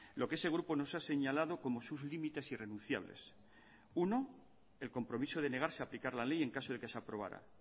lo que ese grupo nos ha señalado como sus límites irrenunciables uno el compromiso de negarse a aplicar la ley en caso de que se aprobara